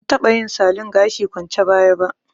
Ban taɓa yin salon gashi kwance baya ba